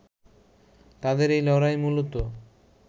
তাদের এই লড়াই মূলত